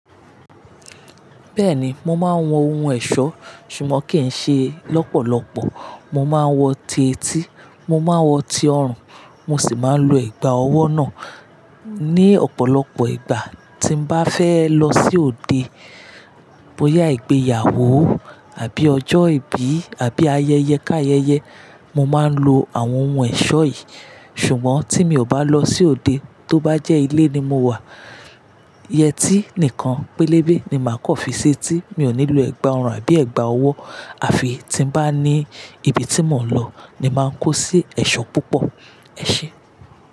Bẹ́ẹ̀ni, mo máa ń wọ ohun ẹ̀ṣọ́ ṣùgbọ́n kì í ṣe lọ́pọ̀lọpọ̀. Mo máa ń wọ ti etí, mo máa ń wọ ti ọrùn, mo sì máa ń lo ẹ̀gbà ọwọ́ náà ní ọ̀pọ̀lọpọ̀ ìgbà tí n bá fẹ́ lọ sí òde, bóyá ìgbéyàwó àbí ọjọ́ ìbí àbí ayẹyẹ ká ayẹyẹ. Mo máa ń lo àwọn ohun ẹ̀ṣọ́ yìí ṣùgbọ́n tí mi ò bá lọ sí òde, tó bá jẹ́ ilé ni mo wà, yẹtí nìkan pélébé ni màá kọ́ fi ṣe tí mi ò ní lo ẹ̀gbà orun àbí ẹ̀gbà ọwọ́. A fi tí n bá ní ibi tí mò ń lọ ni màá ń kó sí ẹ̀ṣọ́ púpọ̀. Ẹ ṣé.